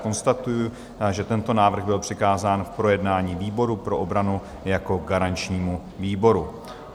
Konstatuji, že tento návrh byl přikázán k projednání výboru pro obranu jako garančnímu výboru.